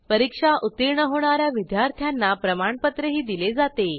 परीक्षा उत्तीर्ण होणा या विद्यार्थ्यांना प्रमाणपत्रही दिले जाते